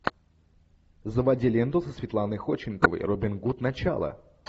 заводи ленту со светланой ходченковой робин гуд начало